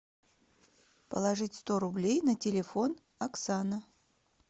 положить сто рублей на телефон оксана